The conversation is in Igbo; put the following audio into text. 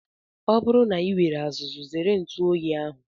Ọ bụrụ na I nwere azuzu zere ntụ oyi ahụ.